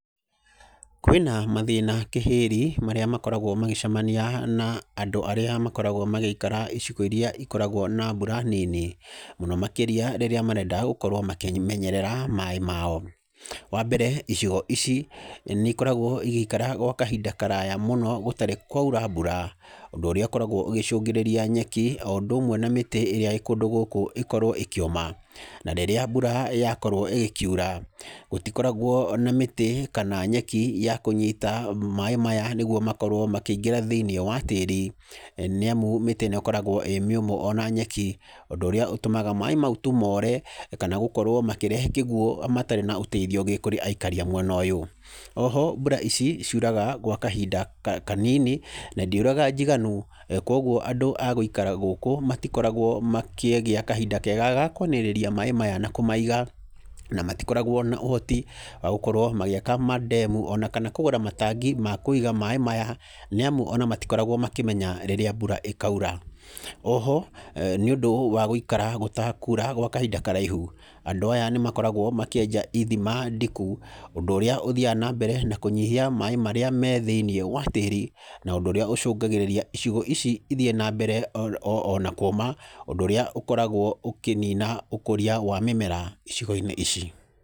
Kwĩna mathĩna kĩhĩri marĩa makoragwo magĩcamania na andũ arĩa makoragwo magĩikara icigo iria ikoragwo na mbura nini mũno makiria rĩrĩa marenda gũkorwo makĩmenyerera maaĩ mao. Wambere icigo ici nĩ ikoragwo igĩikara gwa kahinda karaya mũno gũtarĩ kwaura mbura, ũndũ ũrĩa ũkoragwo ũgĩcungĩrĩria nyeki, o ũndũ ũmwe na mĩtĩ ĩrĩa ĩĩ kũndũ gũkũ ĩkorwo ĩkĩũma. Na rĩrĩa mbura yakorwo ĩgĩkiura gũtikoragwo na mĩtĩ, kana nyeki ya kũnyita maaĩ maya nĩguo makorwo makĩingĩra thĩiniĩ wa tĩĩri, nĩ amu mĩtĩ ĩno ĩkoragwo ĩĩ mĩũmũ ona nyeki, ũndũ ũrĩa ũtũmaga tu maaĩ maũ moore, kana gũkorwo makĩrehe kĩguũ, matarĩ na ũteithio kũrĩ aikari a mwena ũyũ. Oho mbura ici ciuraga gwa kahinda kanini, na ndiuraga njiganu, koguo andũ a gũikara gũkũ matĩkoragwo makĩgĩa kahinda keega ga kũanĩrĩria maaĩ maya na kũmaiga, na matikoragwo na ũhoti wa gũkorwo magĩaka mandemu, ona kana kũgũra matangi ma kũiga maaĩ maya, nĩ amu ona matikoragwo makĩmenya ona rĩrĩa mbura ĩkaura. Oho nĩ ũndũ wa gũikara gũtakuura gwa kahinda karaihu, andũ aya nĩ makoragwo makĩenja ithima ndiku, ũndũ ũrĩa ũthiaga na mbere na kũnyihia maaĩ marĩa me thĩiniĩ wa tíĩri na ũndũ ũrĩa ũcungagĩrĩria icigo ici ithiĩ na mbere ona kũũma. Ũndũ ũrĩa ũkoraguo ũkĩnina ũkũria wa mĩmera icigo-inĩ ici.